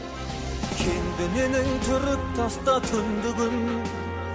кем бе менің түріп таста түндігін